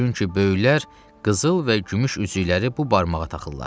Çünki böyüklər qızıl və gümüş üzükləri bu barmağa taxırlar.